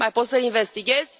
Mai poți să investighezi?